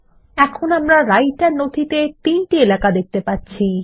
এখন আমরা রাইটের উইন্ডোত়ে তিনটি এলাকা দেখতে পাচ্ছি